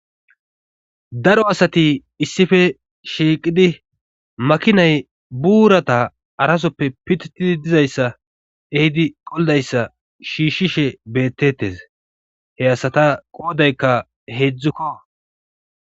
daro asati issife shiiqidi makinay buurata harasoppe pititidi dizayssa ehidi qoldayssa shiishshishe beettetes he asata qoodaykka heedzdzukko